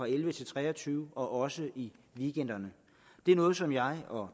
elleve til tre og tyve og også i weekenderne det er noget som jeg og